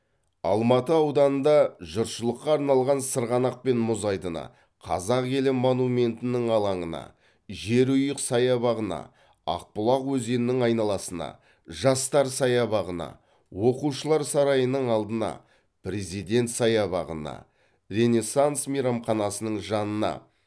алматы ауданында жұртшылыққа арналған сырғанақ пен мұз айдыны қазақ елі монументінің алаңына жерұйық саябағына ақбұлақ өзенінің айналасына жастар саябағына оқушылар сарайының алдына президент саябағына ренессанс мейрамханасының жанына